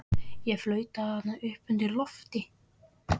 Ég flaut þarna uppi undir lofti.